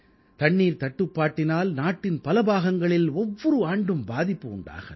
நீர் தட்டுப்பாட்டினால் நாட்டின் பல பாகங்களில் ஒவ்வொரு ஆண்டும் பாதிப்பு உண்டாகிறது